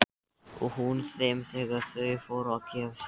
Og hún þeim þegar þau fóru að gefa sig.